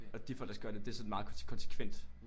Og de folk der så gør de det er sådan meget konsekvent